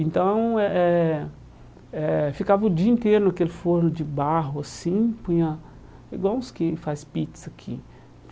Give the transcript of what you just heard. Então, eh eh eh ficava o dia inteiro naquele forno de barro, assim, punha igual os que faz pizza aqui.